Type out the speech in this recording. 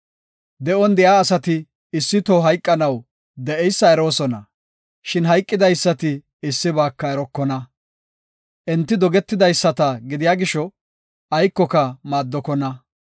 De7on de7iya asati issi toho hayqanaw de7eysa eroosona; shin hayqidaysati issibaaka erokona. Enti dogetidaysata gidiya gisho aykoka maaddokona.